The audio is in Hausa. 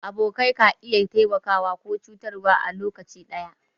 Abokai ka iya taimaka ko cutarwa a lokaci ɗaya.